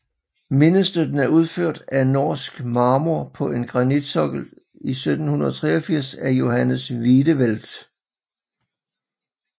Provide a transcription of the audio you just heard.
Mindestøtten er udført af norsk marmor på en granitsokkel 1783 af Johannes Wiedewelt